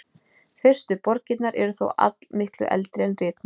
Fyrstu borgirnar eru þó allmiklu eldri en ritmál.